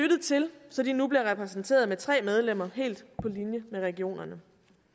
lyttet til så de nu bliver repræsenteret med tre medlemmer helt på linje med regionerne